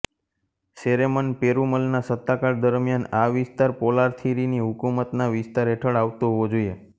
સેરેમન પેરુમલના સત્તાકાળ દરમિયાન આ વિસ્તાર પોર્લાથિરીની હકુમતના વિસ્તાર હેઠળ આવતો હોવો જોઈએ